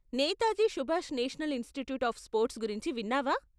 Netaji Subhash National Institute of Sports గురించి విన్నావా?